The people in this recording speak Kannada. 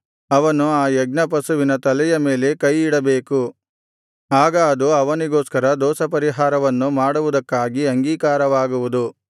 ಅವನು ಆ ಯಜ್ಞ ಪಶುವಿನ ತಲೆಯ ಮೇಲೆ ಕೈಯಿಡಬೇಕು ಆಗ ಅದು ಅವನಿಗೋಸ್ಕರ ದೋಷಪರಿಹಾರವನ್ನು ಮಾಡುವುದಕ್ಕಾಗಿ ಅಂಗೀಕಾರವಾಗುವುದು